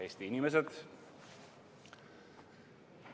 Eesti inimesed!